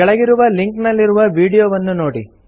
ಕೆಳಗಿರುವ ಲಿಂಕ್ ನಲ್ಲಿರುವ ವೀಡಿಯೊವನ್ನು ನೋಡಿ